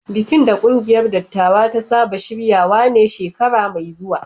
Bikin da kungiyar dattawa ta saba shirya shi ne shekara mai zuwa